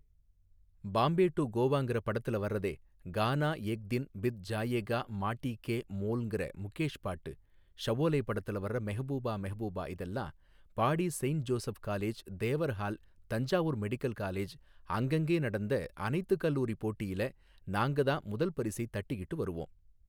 Bombay to கோவாங்குற படத்துலே வர்றதே கானா எக் தின் பித் ஜாயேகா மாட்டீக்கே மோல்ங்குற முகேஷ் பாட்டு ஷஓலே படத்துலே மெஹ்பூபா மெஹ்பூபா இதெல்லாம் பாடி saint Joseph college Thevar hall Thanjavur medical college அங்கங்கே நடந்த அனைத்து கல்லூரி போட்டியில நாங்கத்தான் முதல் பரிசை தட்டிக்கிட்டு வருவோம்.